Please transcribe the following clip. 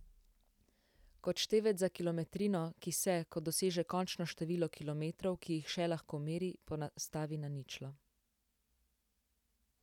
Kot števec za kilometrino, ki se, ko doseže končno število kilometrov, ki jih še lahko meri, ponastavi na ničlo.